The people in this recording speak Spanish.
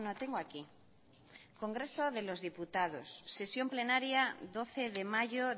tengo aquí congreso de los diputados sesión plenaria doce de mayo